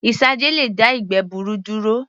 Isanje lè dá ìgbẹ́ gbuuru duro